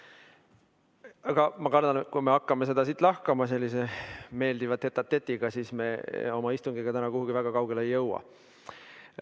Aga ma kardan, et kui me hakkame seda siin lahkama sellise meeldiva tête‑à-tête'iga, siis me oma istungiga täna kuhugi väga kaugele ei jõua.